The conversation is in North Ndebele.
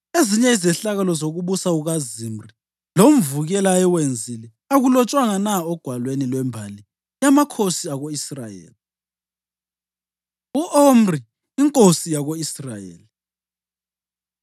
Ezinye izehlakalo zokubusa kukaZimri, lomvukela ayewenzile, akulotshwanga na ogwalweni lwembali yamakhosi ako-Israyeli? U-Omri Inkosi Yako-Israyeli